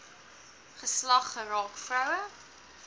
geslag geraak vroue